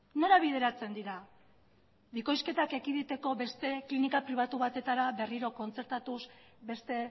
nora bideratzen dira bikoizketa ekiditeko beste klinika pribatu batetara berriro kontzertatuz beste